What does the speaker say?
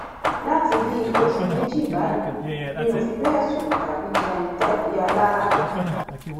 láti bíi oṣù méjì báyìí mi ò fi bẹẹ sùn tàbí jẹun dà bíi alára